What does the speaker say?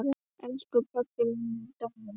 Elsku pabbi minn er dáinn!